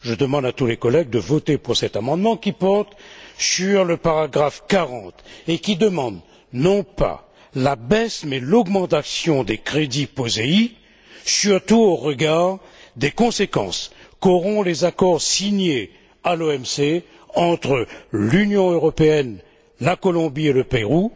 Je demande à tous les collègues de voter pour cet amendement qui porte sur le paragraphe 40 et qui demande, non pas la baisse, mais l'augmentation des crédits POSEI, surtout au regard des conséquences qu'auront les accords signés à l'OMC entre l'Union européenne, la Colombie et le Pérou,